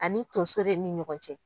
Ani tonso de ni ɲɔgɔn cɛ.